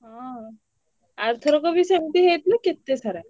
ହଁ ଆରଥରକ ବି ସେମତିହେଇଥିଲା କେତେ ସାରା!